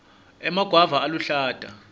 emagwava aluhlata